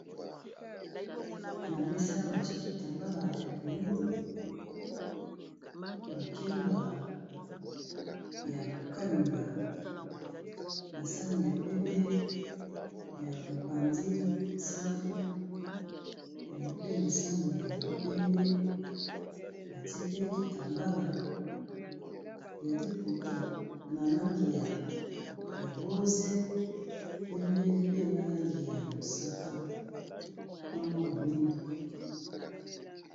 Na méssa batié kitambala ya moyindo, makemba ya ko kalinga na sani ya pembé ya mopanzi safu yango mpe na sani ya pembé batié pe kitambala ya liputa na langi ya rose, pembé, pe na langi ya mosaka na mwa moyindo.